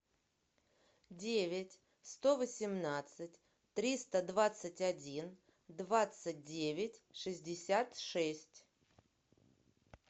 девять сто восемнадцать триста двадцать один двадцать девять шестьдесят шесть